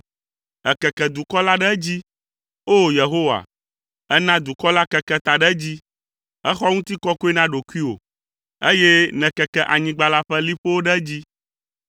Èkeke dukɔ la ɖe edzi, O! Yehowa; èna dukɔ la keke ta ɖe edzi. Èxɔ ŋutikɔkɔe na ɖokuiwò, eye nèkeke anyigba la ƒe liƒowo ɖe edzi.